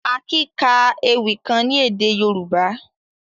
Akin ka èwi kan ni èdè Yorùbá.